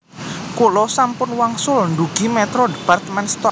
Kula sampun wangsul ndugi Metro department store